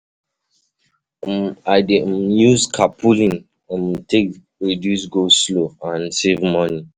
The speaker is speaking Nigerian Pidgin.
I dey um use carpooling um take reduce go slow and and save money. um